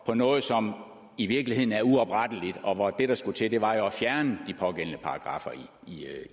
på noget som i virkeligheden er uopretteligt og hvor det der skulle til jo var at fjerne de pågældende paragraffer